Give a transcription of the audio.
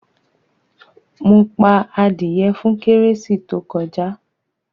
Mo pa adìyẹ fún kérésì tó kọjá.